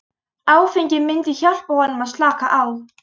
Áfengið myndi hjálpa honum að slaka á.